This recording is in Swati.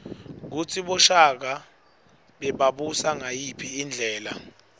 kutsi boshaka bebabusa ngayiphi indlela